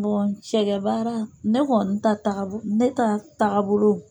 cɛgɛ bara, ne kɔni taa tabolo, ne taa tabolo